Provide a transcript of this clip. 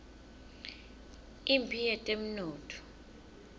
imphi yetemnotfo